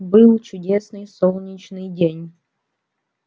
был чудесный солнечный день